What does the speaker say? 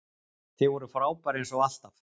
Þið voruð frábær eins og alltaf!